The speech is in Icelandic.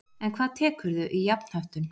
En hvað tekurðu í jafnhöttun?